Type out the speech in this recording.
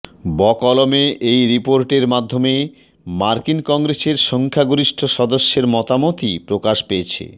বকলমে এই রিপোর্টের মাধ্যমে মার্কিন কংগ্রেসের সংখ্যাগরিষ্ঠ সদস্যের মতামতই প্রকাশ পেয়েছে